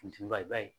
Funteni ba ye